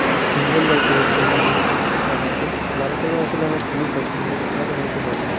খুব সুন্দর লাগছে এদেরকে লাল জামাতে লাল কালার আসলে আমার খুবই পছন্দ আপনার ও হয়তো হবে।